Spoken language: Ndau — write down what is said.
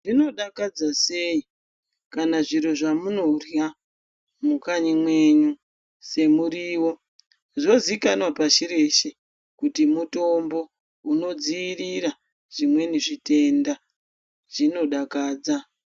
Zvinodakadza sei kana zviro zvamunorya kumakanyi menyu semuriwo zvozikanwa pashi reshe kuti mutombo unodzivirira zvimweni zvitenda zvinodakadza.